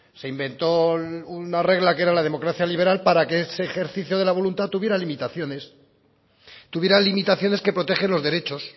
se inventó una regla que era la democracia liberal para que ese ejercicio de la voluntad tuviera limitaciones tuviera limitaciones que protegen los derechos